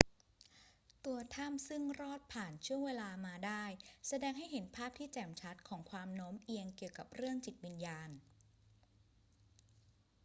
ตัวถ้ำซึ่งรอดผ่านช่วงเวลามาได้ แสดงให้เห็นภาพที่แจ่มชัดของความโน้มเอียงเกี่ยวกับเรื่องจิตวิญญาณ